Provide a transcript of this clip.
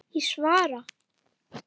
Ég svara.